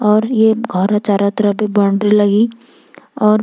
और ये घौर चारो तरफ भी बाउंड्री लगीं और --